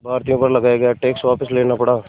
भारतीयों पर लगाया गया टैक्स वापस लेना पड़ा